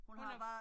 Hun er